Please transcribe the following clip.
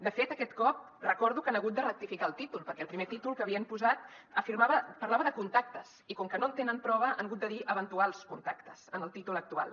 de fet aquest cop recordo que han hagut de rectificar el títol perquè el primer títol que havien posat afirmava parlava de contactes i com que no en tenen prova han hagut de dir eventuals contactes en el títol actual